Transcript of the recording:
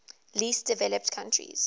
least developed countries